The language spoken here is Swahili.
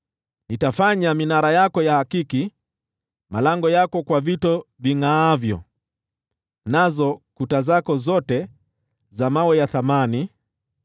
Nitafanya minara yako ya akiki, malango yako kwa vito vingʼaavyo, nazo kuta zako zote za vito vya thamani.